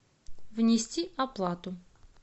внести оплату